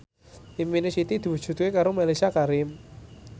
impine Siti diwujudke karo Mellisa Karim